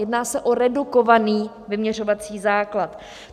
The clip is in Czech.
Jedná se o redukovaný vyměřovací základ.